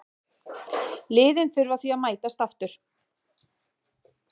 Liðin þurfa því að mætast aftur.